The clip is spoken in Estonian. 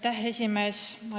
Härra esimees!